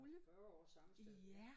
Nåh 40 år samme sted det